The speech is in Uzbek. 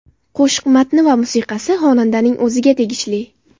Qo‘shiq matni va musiqasi xonandaning o‘ziga tegishli.